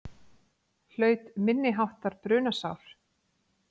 Hlaut minniháttar brunasár